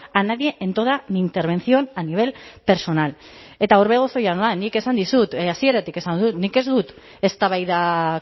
a nadie en toda mi intervención a nivel personal eta orbegozo jauna nik esan dizut hasieratik esan dut nik ez dut eztabaida